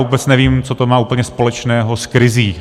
Vůbec nevím, co to má úplně společného s krizí.